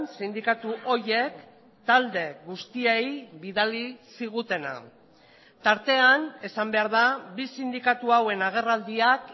sindikatu horiek talde guztiei bidali zigutena tartean esan behar da bi sindikatu hauen agerraldiak